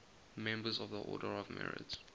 members of the order of merit